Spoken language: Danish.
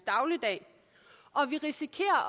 dagligdag og vi risikerer at